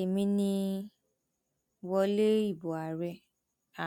èmi ni wọlé ìbò àárẹ